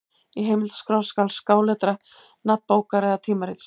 Í heimildaskrá skal skáletra nafn bókar eða tímarits.